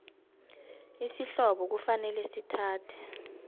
isihlobo kufanele sithathe